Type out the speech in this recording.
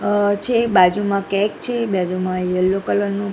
અ છે બાજુમાં કેક છે બાજુમાં યેલો કલર નુ--